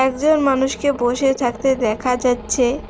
দুজন মানুষকে বসে থাকতে দেখা যাচ্ছে।